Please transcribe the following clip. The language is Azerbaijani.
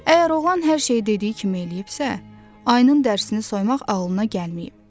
Əgər oğlan hər şeyi dediyi kimi eləyibsə, ayının dərisini soymaq ağlına gəlməyib.